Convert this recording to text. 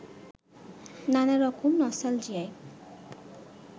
নানা রকম নস্টালজিয়ায়